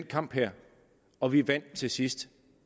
kamp her og vi vandt til sidst